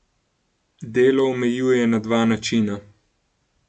Delo omejuje na dva načina.